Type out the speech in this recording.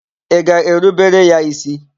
Ị ga-erubere ya ísí?